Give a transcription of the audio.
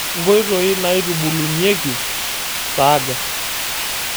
Nkoitoi naitubulunyieki saaga.